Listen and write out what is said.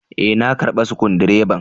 Eh, na karba Sukudireban.